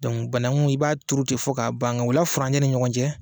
Dɔnkuc banakun i b'a turu ten fɔ ka ta'a ban, u la furancɛw ni ɲɔgɔn cɛ